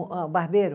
Barbeiro